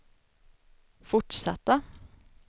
fortsatta